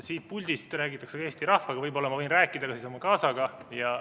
Siit puldist räägitakse Eesti rahvaga, võib-olla ma võin rääkida siis ka oma kaasaga.